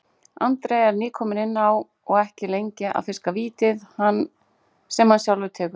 Andri var nýkominn inn á og ekki lengi að fiska vítið, sem hann tekur sjálfur.